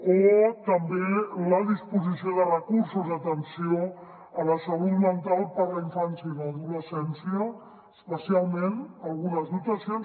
o també la disposició de recursos d’atenció a la salut mental per a la infància i l’adolescència especialment algunes dotacions